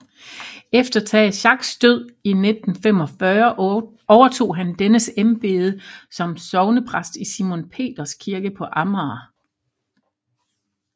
Efter Tage Schacks død i 1945 overtog han dennes embede som sognepræst i Simon Peters Kirke på Amager